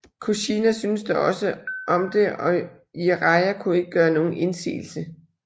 Kushina syntes dog også om det og Jiraiya kunne ikke gøre nogen indsigelse